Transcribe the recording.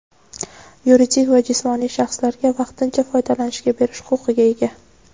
yuridik va jismoniy shaxslarga vaqtincha foydalanishga berish huquqiga ega.